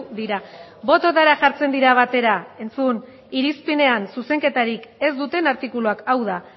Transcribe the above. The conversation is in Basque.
dira bototara jartzen dira batera entzun irizpidean zuzenketarik ez duten artikuluak hau da